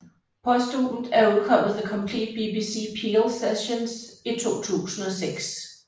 Posthumt er udkommet The Complete BBC Peel Sessions i 2006